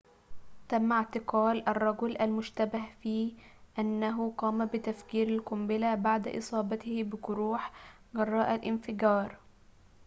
تم اعتقال الرجل المشتبه في أنه قام بتفجير القنبلة بعد إصابته بجروح جراء الانفجار